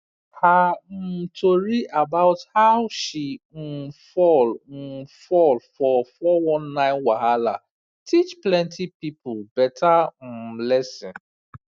her um tori about how she um fall um fall for four one nine wahala teach plenty people better um lesson